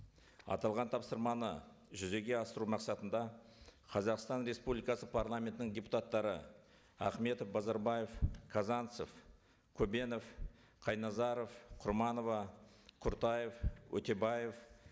аталған тапсырманы жүзеге асыру мақсатында қазақстан республикасы парламентінің депутаттары ахметов базарбаев казанцев көбенов қайназаров құрманова құртаев өтебаев